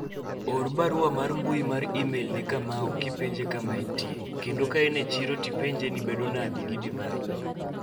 or barua mar mbui mar email ne Kamau kipenje kama entie kendo ka en e chiro iorne kopi ni bedo nade gi divai